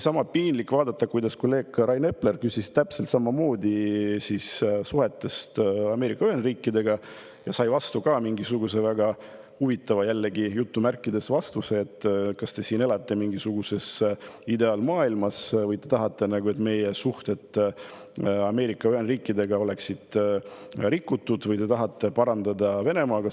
Sama piinlik oli vaadata, kuidas kolleeg Rain Epler küsis täpselt samamoodi suhete kohta Ameerika Ühendriikidega, aga sai jällegi mingisuguse väga "huvitava" vastuse, et kas te siin elate mingisuguses ideaalmaailmas või te tahate, et meie suhted Ameerika Ühendriikidega oleksid rikutud, või te tahate parandada suhteid Venemaaga.